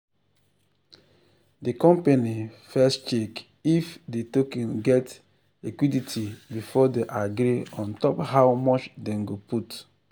the company first check if the token get liquidity before they agree on top how much them go put.